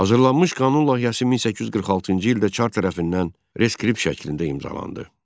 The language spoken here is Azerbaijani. Hazırlanmış qanun layihəsi 1846-cı ildə çar tərəfindən reskript şəklində imzalandı.